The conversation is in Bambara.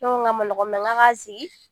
Ne ko k'a man nɔgɔ k'a k'a sigi